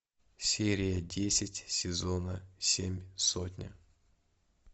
серия десять сезона семь сотня